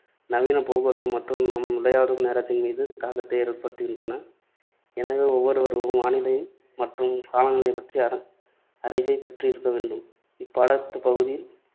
நவீன போக்குவரத்து மற்றும் நாம் விளையாடும் நேரத்தின் மீது தாக்கத்தை ஏற்படுத்துகின்றன. எனவே ஒவ்வொருவரும் வானிலை மற்றும் காலநிலைப் பற்றிய அற~ அறிவை பெற்றிருக்கவேண்டும். இப்பாடப்பகுதியில்